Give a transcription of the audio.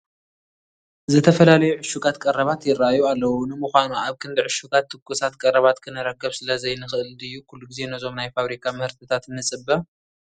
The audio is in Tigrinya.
ዝተፈላለዩ ዕሹጋት ቀረባት ይርአዩ ኣለዉ፡፡ ንምዃኑ ኣብ ክንዲ ዕሹጋት ትኩሳት ቀረባት ክንረክብ ስለዘይንኽእል ድዩ ኩሉ ግዜ ነዞም ናይ ፋብሪካ ምህርትታት ንፅበ፡፡